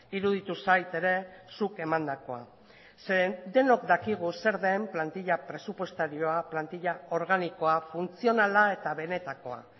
iruditu zait ere zuk emandakoa zeren denok dakigu zer den plantila presupuestarioa plantila organikoa funtzionala eta benetakoa